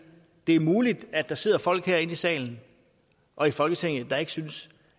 det er muligt at der sidder folk herinde i salen og i folketinget der ikke synes